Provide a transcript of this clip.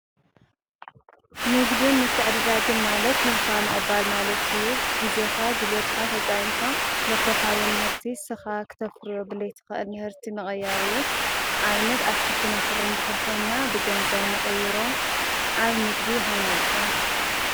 ንግድን ምትዕድዳግን ማለት ሂብካ ምቕባል ማለትእዩ፡፡ ጊዜኻ ጉልበትካ ተጠቒምካ ለፍረኻዮ ምህርቲ ንስኾ ክተፍርዮ ክተፍርዮ ምስዘይትኽእል ምህርቲ ምቅይያር እዩ፡፡ ንኣብነት ኣትክልቲ ተፍርይ እንተኾይንና ብገንዘብ ንቕይሮ፡፡ ኣብን ንግዲ ከመይ ኢኹም?